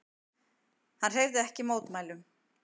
Hann hreyfði ekki mótmælum.